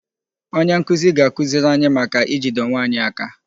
Onye nkụzi ga-akụziri anyị maka ijide onwe anyị aka